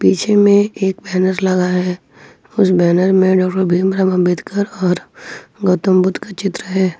पीछे मे एक बैनर लगा है उस बैनर में डॉक्टर भीमराव अंबेडकर और गौतम बुद्ध का चित्र है।